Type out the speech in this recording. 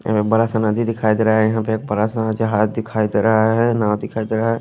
में बड़ा सा नदी दिखाई दे रा है यहां पे एक बड़ा सा जहाज दिखाई दे रहा है नाव दिखाई दे रहा है।